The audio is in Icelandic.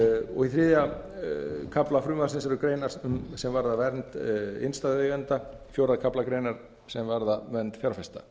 og í þriðja kafla frumvarpsins eru greinar sem varða vernd innstæðueigenda í fjórða kafla greinar sem varða vernd fjárfesta